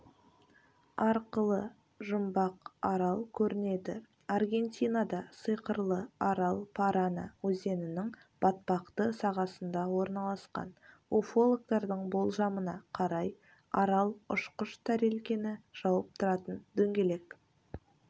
арқылы жұмбақ арал көрінеді аргентинада сиқырлы арал парана өзенінің батпақты сағасында орналасқан уфологтардың болжамына қарай арал ұшқыш тәрелкені жауып тұратын дөңгелек